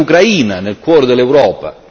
ma anche in Ucraina nel cuore dell'Europa.